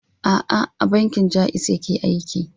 A'a, a bankin Ja'iz yake aiki.